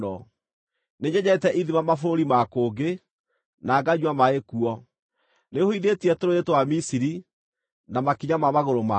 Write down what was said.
Nĩnyenjete ithima mabũrũri ma kũngĩ, na nganyua maaĩ kuo. Nĩhũithĩtie tũrũũĩ twa Misiri na makinya ma magũrũ makwa.”